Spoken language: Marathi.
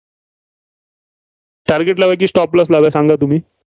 target लावायचं की stop loss सांगा तुम्ही.